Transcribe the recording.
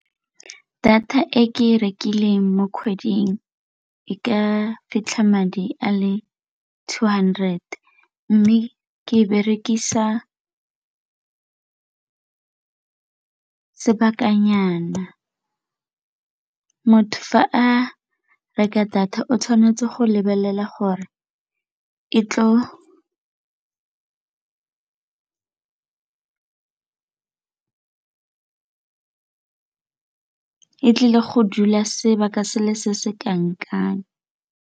Data e ke e rekileng mo kgweding e ka fitlha madi a le two hundred mme ke berekisa sebakanyana. Motho fa a reka data, o tshwanetse go lebelela gore e tlile go dula sebaka se le se se kanang kang.